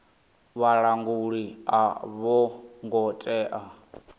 vhalanguli a vho ngo tea